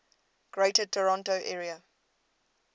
greater toronto area